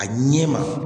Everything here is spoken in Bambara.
A ɲɛ ma